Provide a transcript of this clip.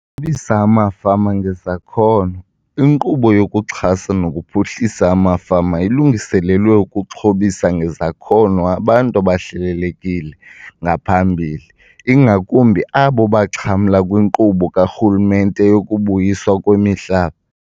xhobisa Amafama Ngezakhono. INkqubo yokuXhasa nokuPhuhlisa amaFama ilungiselelwe ukuxhobisa ngezakhono abantu ababehlelelekile ngaphambili, ingakumbi abo baxhamla kwinkqubo karhulumente yokuBuyiswa kwemiHlaba.